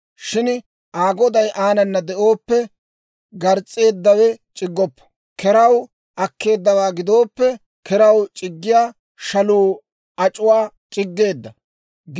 Shin Aa goday aanana de'ooppe, gars's'eedawe c'iggoppo; keraw akkeeddawaa gidooppe, keraw c'iggiyaa shaluu ac'uwaa c'iggeedda.